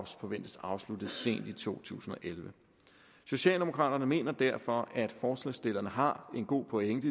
forventes afsluttet sent i to tusind og elleve socialdemokraterne mener derfor at forslagsstillerne har en god pointe